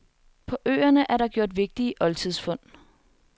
På øerne er der gjort vigtige oldtidsfund.